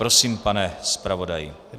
Prosím, pane zpravodaji.